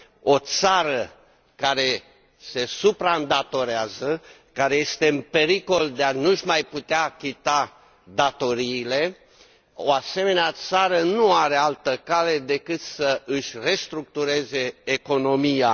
O țară care se supraîndatorează care este în pericol de a nu și mai putea achita datoriile o asemenea țară nu are altă cale decât să își restructureze economia.